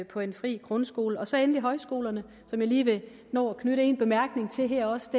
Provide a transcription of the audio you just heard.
på en fri grundskole så endelig højskolerne som jeg lige vil nå at knytte en bemærkning til her også